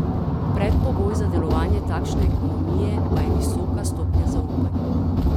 Predpogoj za delovanje takšne ekonomije pa je visoka stopnja zaupanja.